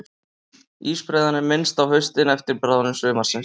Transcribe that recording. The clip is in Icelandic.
Ísbreiðan er minnst á haustin eftir bráðnun sumarsins.